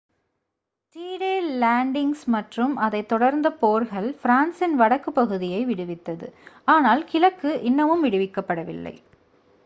D Day landings மற்றும் அதைத் தொடர்ந்த போர்கள் ஃப்ரான்சின் வடக்குப் பகுதியை விடுவித்தது ஆனால் கிழக்கு இன்னமும் விடுவிக்கப்படவில்லை